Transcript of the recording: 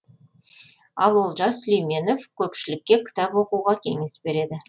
ал олжас сүлейменов көпшілікке кітап оқуға кеңес береді